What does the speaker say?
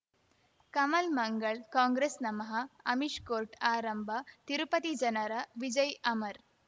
ಕಮಲ್ ಮಂಗಳ್ ಕಾಂಗ್ರೆಸ್ ನಮಃ ಅಮಿಷ್ ಕೋರ್ಟ್ ಆರಂಭ ತಿರುಪತಿ ಜನರ ವಿಜಯ್ ಅಮರ್